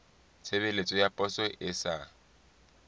tshebeletso ya poso e sa